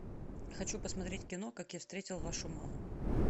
хочу посмотреть кино как я встретил вашу маму